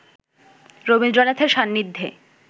রবীন্দ্রনাথের সান্নিধ্যে